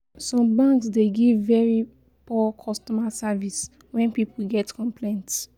Some banks dey give very poor customer service when pipo get complaints